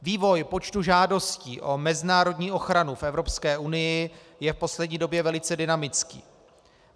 Vývoj počtu žádostí o mezinárodní ochranu v Evropské unii je v poslední době velice dynamický.